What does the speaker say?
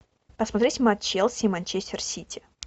посмотреть матч челси и манчестер сити